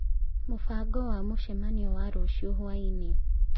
Mũbango wa mũcemanio wa rũciũ hwaĩ-inĩ